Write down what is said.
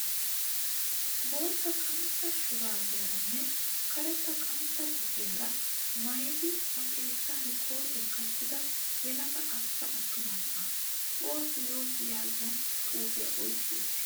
Bootta qantta shuraabiyaaranne karetta qantta boggiyaara maayidi ba xeessan kootiyaa qachchida yelaga arssa attuma na"aa. Boss yoss yaagiyaa xuupiyaa oyiqqi uttis.